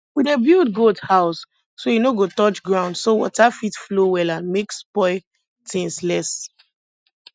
we dey build goat house so e no go touch ground so water fit flow well and make spoil things less